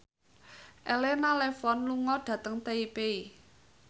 Elena Levon lunga dhateng Taipei